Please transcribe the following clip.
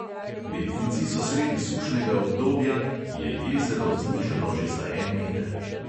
Beltinci so sredi sušnega obdobja, ki je jezero znižalo že za en meter.